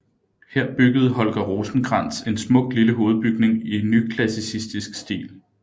Her byggede Holger Rosenkrantz en smuk lille hovedbygning i nyklassicistisk stil